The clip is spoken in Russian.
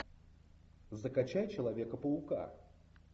закачай человека паука